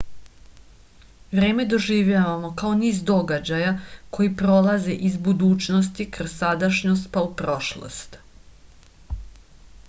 vreme doživljavamo kao niz događaja koji prolaze iz budućnosti kroz sadašnjost pa u prošlost